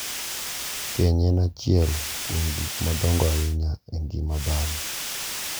keny en achiel kuom gik madongo ahinya e ngima dhako.